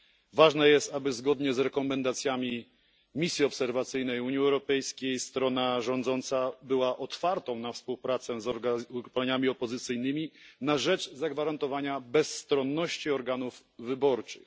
Ważne jest, aby zgodnie z rekomendacjami misji obserwacyjnej Unii Europejskiej strona rządząca była otwarta na współpracę z ugrupowaniami opozycyjnymi na rzecz zagwarantowania bezstronności organów wyborczych.